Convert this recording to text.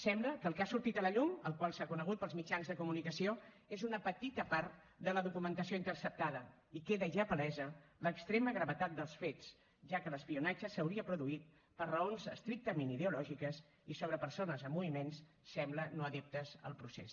sembla que el que ha sortit a la llum el qual s’ha conegut pels mitjans de comunicació és una petita part de la documentació interceptada i queda ja palesa l’extrema gravetat dels fets ja que l’espionatge s’hauria produït per raons estrictament ideològiques i sobre persones i a moviments sembla no adeptes al procés